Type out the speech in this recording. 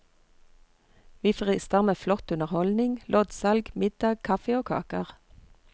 Vi frister med flott underholdning, loddsalg, middag, kaffe og kaker.